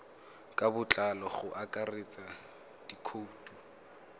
ka botlalo go akaretsa dikhoutu